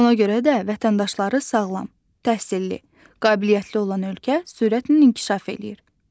Ona görə də vətəndaşları sağlam, təhsilli, qabiliyyətli olan ölkə sürətlə inkişaf eləyir.